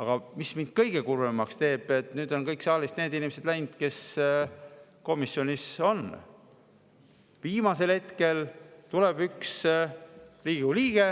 Aga mis mind kõige kurvemaks teeb – nüüd on saalist läinud kõik need inimesed, kes komisjonis on –, et viimasel hetkel tuleb üks Riigikogu liige